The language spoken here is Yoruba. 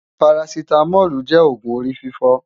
Párásitámòlú jé ógùn órififò